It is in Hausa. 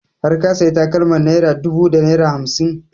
Har ka sayi takalmar naira ɗubu da naira hamsin?